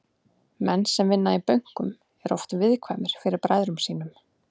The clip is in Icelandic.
Menn sem vinna í bönkum eru oft viðkvæmir fyrir bræðrum sínum.